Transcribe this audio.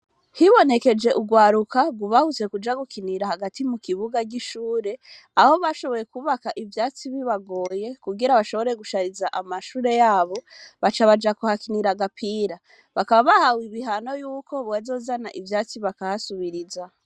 Hibonekeje urwaruka nrgubahutse kuja gukinira hagati mu kibuga r'ishure aho bashoboye kubaka ivyatsi bibagoye kugira bashobore gushariza amashure yabo baca baja kuhakinira agapira bakababahawe ibihano yuko buwazozana ivyatsi bakahasubiriza.